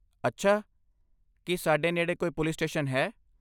ਅੱਛਾ, ਕੀ ਸਾਡੇ ਨੇੜੇ ਕੋਈ ਪੁਲਿਸ ਸਟੇਸ਼ਨ ਹੈ?